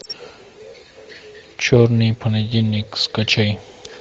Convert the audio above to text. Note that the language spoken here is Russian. черный понедельник скачай